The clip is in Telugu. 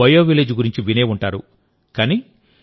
మీరు బయోవిలేజ్ గురించి వినే ఉంటారు